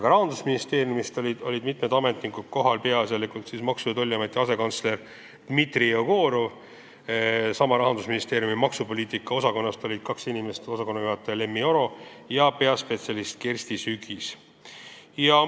Ka mitu Rahandusministeeriumi ametnikku oli kohal, peaasjalikult maksu- ja tollipoliitika asekantsler Dmitri Jegorov, samuti kaks inimest Rahandusministeeriumi maksupoliitika osakonnast: osakonnajuhataja Lemmi Oro ja peaspetsialist Kersti Sügis.